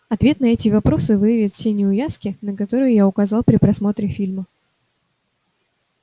ответ на эти вопросы выявит все неувязки на которые я указал при просмотре фильма